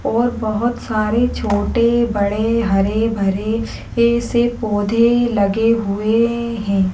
और बहुत सारे छोटे बड़े हरे भरे ऐसे पौधे लगे हुए है।